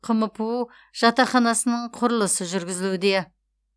қмпу жатақханасының құрылысы жүргізілуде